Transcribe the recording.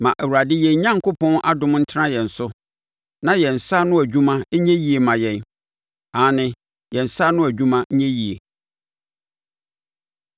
Ma Awurade yɛn Onyankopɔn adom no ntena yɛn so; na yɛn nsa ano adwuma nyɛ yie mma yɛn aane, yɛn nsa ano adwuma nyɛ yie.